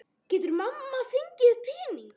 Getur mamma fengið pening?